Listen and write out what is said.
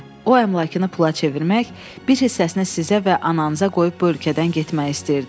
O əmlakını pula çevirmək, bir hissəsini sizə və ananıza qoyub bu ölkədən getmək istəyirdi.